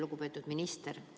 Lugupeetud minister!